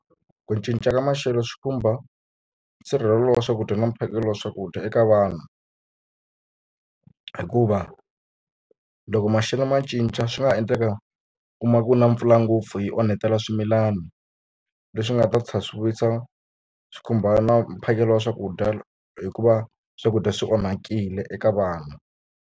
Ku cinca ka maxelo swi khumba nsirhelelo wa swakudya na mphakelo wa swakudya eka vanhu hikuva loko maxelo ma cinca swi nga ha endleka u kuma ku na mpfula ngopfu yi onhetela swimilana leswi nga ta tlhela swi vuyisa swi khumba na mphakelo wa swakudya hikuva swakudya swi onhakile eka vanhu.